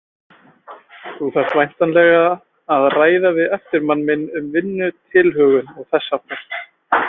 Þú þarft væntanlega að ræða við eftirmann minn um vinnutilhögun og þess háttar.